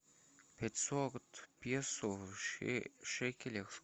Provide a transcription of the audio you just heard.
пятьсот песо в шекелях